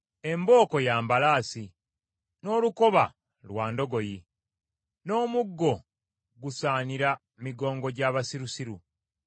Embooko ya mbalaasi, n’olukoba lwa ndogoyi, n’omuggo gusaanira migongo gya basirusirusiru.